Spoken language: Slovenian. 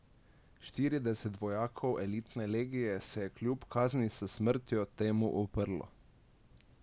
Štirideset vojakov elitne legije se je kljub kazni s smrtjo temu uprlo.